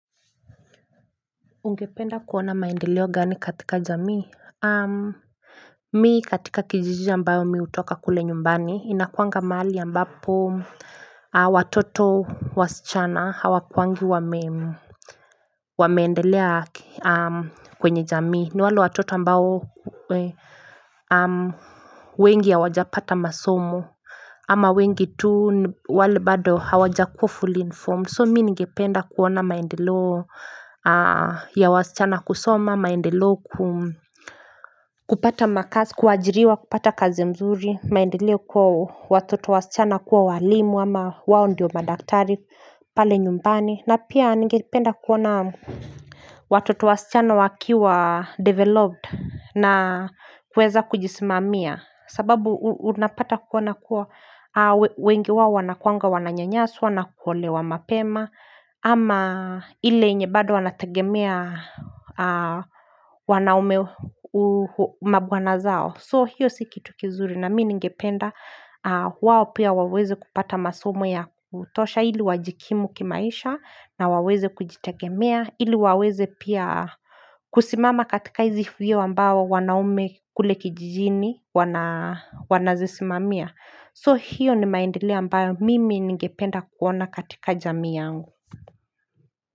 Ungependa kuona maendeleo gani katika jamii? Mi katika kijiji ambayo mi utoka kule nyumbani inakuanga maali ambapo watoto wasichana hawakwangi wameendelea kwenye jamii ni wale watoto ambao wengi hawajapata masomo ama wengi tu wale bado hawajakuwa fully informed so mi ningependa kuona maendeleo ya wasichana kusoma maendeleo kum kupata makazi kuajiriwa kupata kazi mzuri maendeleo kwa watoto wasichana kuwa walimu ama wao ndiyo madaktari pale nyumbani na pia ningependa kuona Watoto wasichana wakiwa developed na kweza kujisimamia sababu unapata kwa wengi wao wanakuanga wananyanyaswa na kuolewa mapema ama ile nye bado wanategemea wanaume mabwana zao So hiyo si kitu kizuri na mi ningependa wao pia waweze kupata masomo ya kutosha ili wajikimu kimaisha na waweze kujitegemea ili waweze pia kusimama katika hizi vyeo ambao wanaume kule kijijini wanazisimamia. So hiyo ni maendeleo ambao mimi ningependa kuona katika jamii yangu.